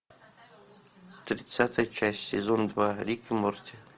тридцатая часть сезон два рик и морти